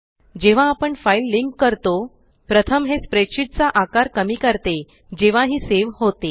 जेव्हा आपण file link करतो प्रथम हे स्प्रेडशीट चा आकार कमी करते जेव्हा ही सेव होते